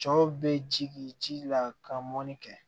Cɔ bɛ ji la ka mɔnni kɛ